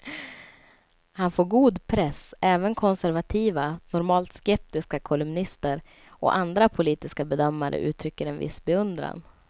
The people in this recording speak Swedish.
Han får god press; även konservativa, normalt skeptiska kolumnister och andra politiska bedömare uttrycker en viss beundran.